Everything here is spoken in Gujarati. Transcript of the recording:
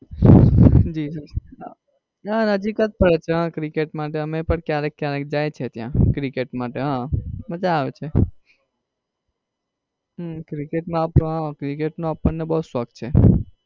જી જી હા ના નજીક જ પડે છે હા cricket માટે અમે પણ ક્યારેક ક્યારેક જાય છે ત્યાં. cricket માટે હા મજા આવે છે. હમ cricket માં cricket નો અપડને બઉ શોખ છે.